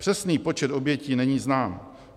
Přesný počet obětí není znám.